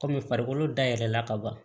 Kɔmi farikolo dayɛlɛla ka ban